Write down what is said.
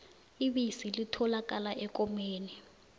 ibisi litholakala ekomeni